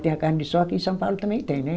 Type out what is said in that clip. Tem a carne de sol aqui em São Paulo, também tem, né?